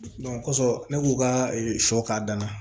kosɔn ne k'u ka sɔ k'a danna